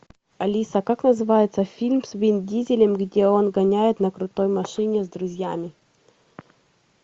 алиса как называется фильм с вин дизелем где он гоняет на крутой машине с друзьями